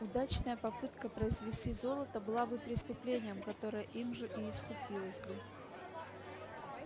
удачная попытка произвести золото была бы преступлением которое им же и искупилось бы